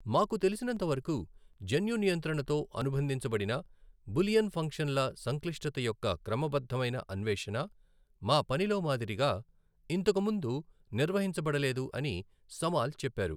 మాకు తెలిసినంతవరకు, జన్యు నియంత్రణతో అనుబంధించబడిన బూలియన్ ఫంక్షన్ల సంక్లిష్టత యొక్క క్రమబద్ధమైన అన్వేషణ, మా పనిలో మాదిరిగా, ఇంతకుముందు నిర్వహించబడలేదు అని సమాల్ చెప్పారు.